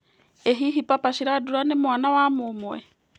ĩ hihi Papa Shirandula nĩ mwana wa mũmwe